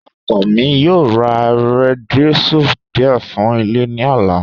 Ọkọ mi yoo rá díésẹ̀l díẹ̀ fún ilẹ̀ ní ọ̀là.